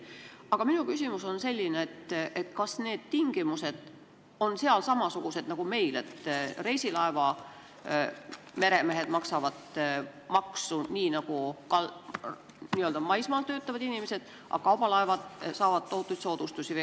Aga minu küsimus on selline: kas need tingimused on seal samasugused nagu meil, et reisilaeva meremehed maksavad maksu nii nagu maismaal töötavad inimesed, aga kaubalaevadel saadakse tohutuid soodustusi?